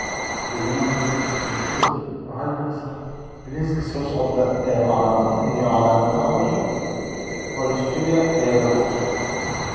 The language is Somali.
The Human Phenotype Ontology waxay bixisaa liiska soo socda ee calaamadaha iyo calaamadaha cudurka porphyria ee lagu dhasho.